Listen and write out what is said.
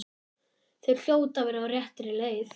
Þau hljóta að vera á réttri leið.